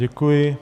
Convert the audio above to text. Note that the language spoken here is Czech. Děkuji.